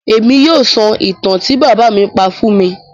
Émi yóò sọ ìtan ti bábà mi pa fun mi.